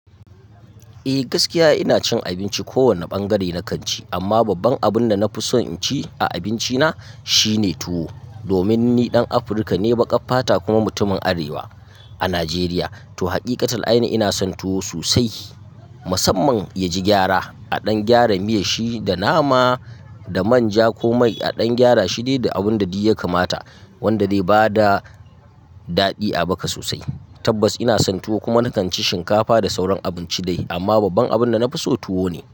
Eh gaskiya ina cin abinci ko wanne bangare na kanci, amma babban abunda nafi son inci a abinci na shine tuwo. Domin ni dan Afirka ne, baƙa fata kuma mutumin Arewa a Najeriya. To haqiƙatul ainihi ina son tuwo sosai musamman yaji gyara. A ɗan gyara miyar shi da nama da manja ko mai. A ɗan gyara shi dai abun da duk yakamata wanda bai da daɗi a bakas sosai. Tabbas ina son tuwo kuma na kan ci shinkafa da sauran abinci dai amma babban abinda nafi so tuwo ne.